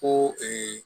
Ko